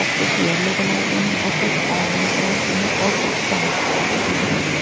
और कुछ yellow colour के हैं और कुछ ऑरेंज कलर के हैं और कुछ वाइट कलर के दिख रही है।